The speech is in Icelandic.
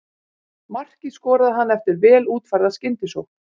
Markið skoraði hann eftir vel útfærða skyndisókn.